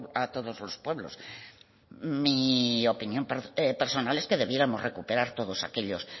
a todos los pueblos mi opinión personal es que debiéramos recuperar todos aquellos